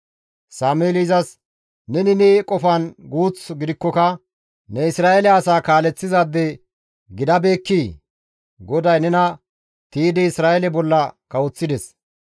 Sameeli izas, «Neni ne qofan guuth gidikkoka ne Isra7eele asaa kaaleththizaade gidabeekkii? GODAY nena tiydi Isra7eele bolla kawoththides.